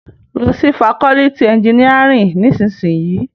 Lò si fákòlìtí ènjìníárìn nìsísìyín